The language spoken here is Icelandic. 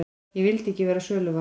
Ég vildi ekki verða söluvara.